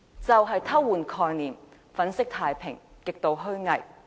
他偷換概念，粉飾太平，極度虛偽。